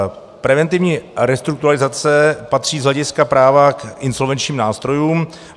Preventivní restrukturalizace patří z hlediska práva k insolvenčním nástrojům.